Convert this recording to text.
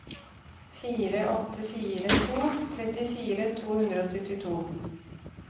fire åtte fire to trettifire to hundre og syttito